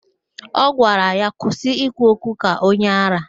Ọ gwara ya, kwụsị ikwu okwu ka onye árá!